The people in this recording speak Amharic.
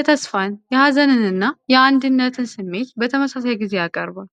የተስፋን፣ የሀዘንን እና የአንድነትን ስሜት በተመሳሳይ ጊዜ ያቀርባል።